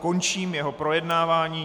Končím jeho projednávání.